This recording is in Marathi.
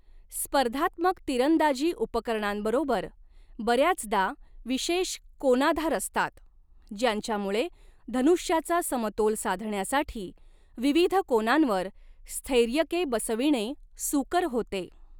स्पर्धात्मक तिरंदाजी उपकरणांबरोबर बर्याचदा विशेष कोनाधार असतात, ज्यांच्यामुळे, धनुष्याचा समतोल साधण्यासाठी, विविध कोनांवर स्थैर्यके बसविणे सूकर होते.